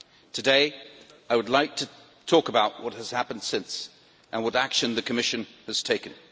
Today I would like to talk about what has happened since and what action the Commission has taken.